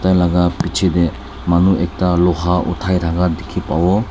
tai laga piche teh manu ekta luha othai thakia dikhi pabo.